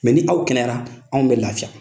ni aw kɛnɛyara anw bɛ lafiya.